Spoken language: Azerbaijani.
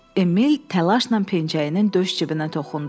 Emil təlaşla pencəyinin döş cibinə toxundu.